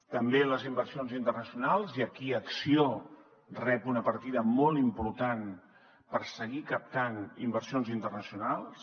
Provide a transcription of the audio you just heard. també les inversions internacionals i aquí acció rep una partida molt important per seguir captant inversions internacionals